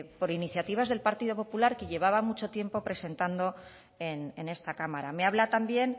por iniciativas del partido popular que llevaban mucho tiempo presentando en esta cámara me habla también